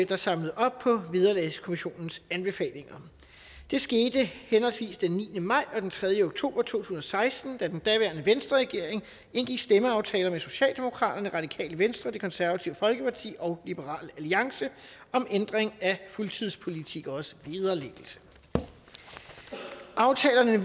der samlede op på vederlagskommissionens anbefalinger det skete henholdsvis den niende maj og den tredje oktober to tusind og seksten da den daværende venstreregering indgik stemmeaftaler med socialdemokraterne det radikale venstre det konservative folkeparti og liberal alliance om ændring af fuldtidspolitikeres vederlæggelse aftalerne